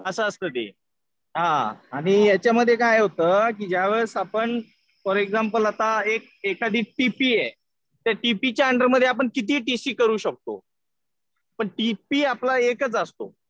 असं असतं ते. हा आणि याच्यामध्ये काय होतं कि ज्या वेळेस आपण फॉर एक्झाम्पल आता एखादी टीपी आहे. त्या टीपी च्या अंडर आपण कितीही टी सी करू शकतो. पण टीपी आपला एकच असतो.